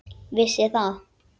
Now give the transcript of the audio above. Vissi það.